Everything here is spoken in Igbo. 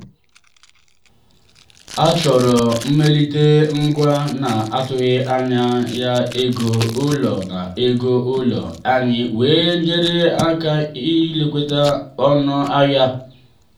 achọrọ mmelite ngwa na-atụghị anya ya ego ụlọ ya ego ụlọ anyị wee nyere aka ijikwa ọnụ ahịa